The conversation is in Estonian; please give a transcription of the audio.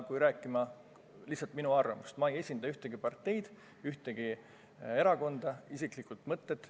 Ütlesin lihtsalt oma arvamuse – ma ei esinda ühtegi parteid, need on mu isiklikud mõtted.